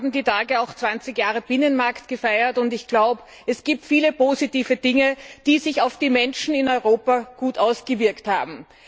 Wir haben in diesen Tagen auch zwanzig Jahre Binnenmarkt gefeiert, und ich glaube, es gibt viele positive Dinge, die sich auf die Menschen in Europa gut ausgewirkt haben.